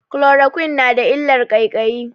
Chloroquine na da illar ƙaiƙayi.